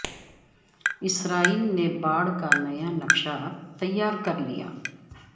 اسرائیل نے باڑ کا نیا نقشہ تیار کر لیا